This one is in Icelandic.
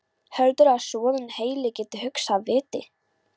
Heldurðu að soðinn heili geti hugsað af viti?